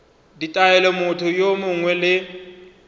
ditaelo motho yo mongwe le